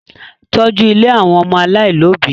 Tọ́jú ilé àwọn ọmọ aláìlóbi!